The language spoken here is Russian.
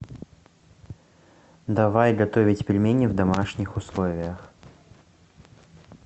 давай готовить пельмени в домашних условиях